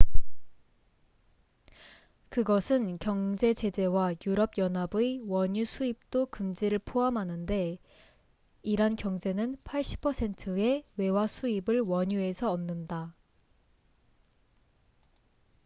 그것은 경제 제재와 유럽 연합의 원유 수입도 금지를 포함하는데 이란 경제는 80%의 외화 수입을 원유에서 얻는다